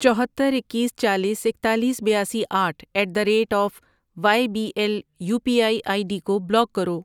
چوہتر، اکیس، چالیس، اکتالیس، بیاسی، آٹھ ایٹ دیی ریٹ آف ،وایےبی L U P I I D کو بلاک کرو۔